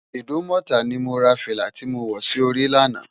Idumota ni mó rá filá ti mó wò si óri làná